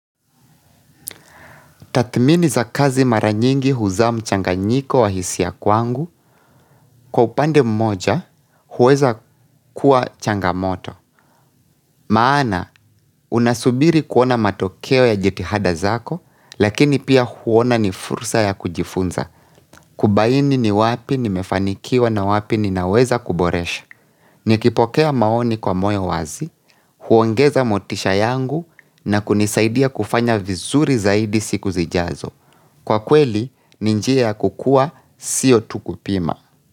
Tathmini za kazi mara nyingi huzaa mchanganyiko wa hisia kwangu, kwa upande mmoja, huweza kuwa changamoto. Maana, unasubiri kuona matokeo ya jitihada zako, lakini pia huona ni fursa ya kujifunza. Kubaini ni wapi nimefanikiwa na wapi ninaweza kuboresha. Nikipokea maoni kwa moyo wazi, huongeza motisha yangu na kunisaidia kufanya vizuri zaidi siku zijazo. Kwa kweli, ni njia kukuwa, siyo tu kupima.